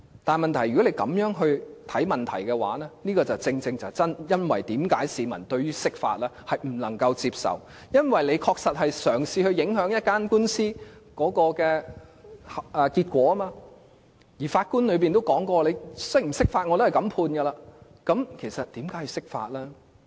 但是，問題是，如果政府這樣看待問題，便正正是為何市民不能接受釋法，因為政府確實嘗試影響一宗官司的結果，而法官亦提到無論釋法與否，他也會這樣判決，那麼為何要釋法呢？